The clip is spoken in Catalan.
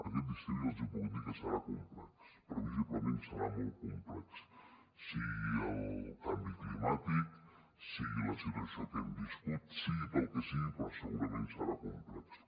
aquest estiu ja els puc dir que serà complex previsiblement serà molt complex sigui pel canvi climàtic sigui per la situació que hem viscut sigui pel que sigui però segurament serà complex